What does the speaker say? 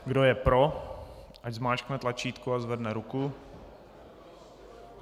Kdo je pro, ať zmáčkne tlačítko a zvedne ruku.